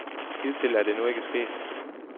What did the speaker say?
Hidtil er det nu ikke sket.